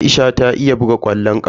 Aisha ta iya buga ƙwallon ƙafa.